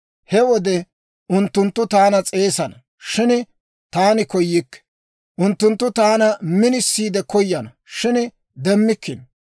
«He wode unttunttu taana s'eesana; shin taani koyikke; unttunttu taana minisiide koyana; shin demmikkino.